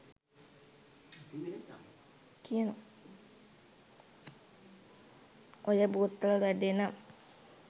ඔය බෝතල් වැඩේ නම්